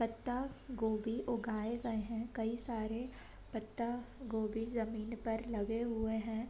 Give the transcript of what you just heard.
पत्तागोभी उगाये गए हैं। कई सारे पत्तागोभी जमीन पर लगे हुए हैं।